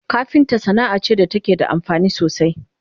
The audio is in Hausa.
kafinta Sanaa ce da take da amfani sosai